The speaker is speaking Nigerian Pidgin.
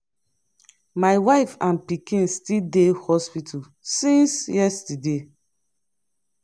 my wife and pikin still dey hospital since yesterday.